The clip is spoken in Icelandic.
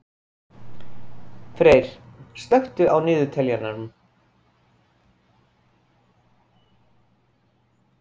Freyr, slökktu á niðurteljaranum.